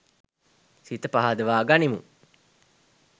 සිත පහදවා ගනිමු.